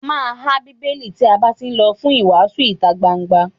A má há Bíbélì tí a bá tí lọ fún ìwàásù ìtagbangba.